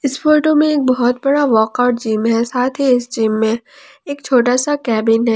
इस फोटो में एक बहोत बड़ा वर्कआउट जिम है साथ ही इस जिम में एक छोटा सा केबिन है।